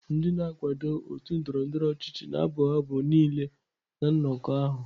Ndị na-akwado otu ndọrọndọrọ ọchịchị na-abụ abụ niile na nnọkọ ahụ.